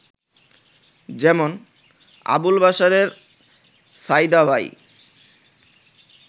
যেমন: আবুল বাশারের সইদাবাঈ